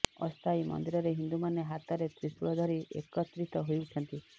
ଅସ୍ଥାୟୀ ମନ୍ଦିରରେ ହିନ୍ଦୁମାନେ ହାତରେ ତ୍ରୀଶୂଳ ଧରି ଏକତ୍ରିତ ହେଉଛନ୍ତି